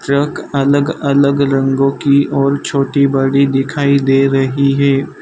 Truck अलग अलग रंगों की और छोटी बड़ी दिखाई दे रही है।